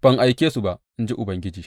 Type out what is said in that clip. Ban aike su ba, in ji Ubangiji.